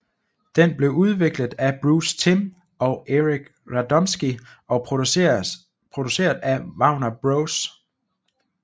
Den blev udviklet af Bruce Timm og Eric Radomski og produceret af Warner Bros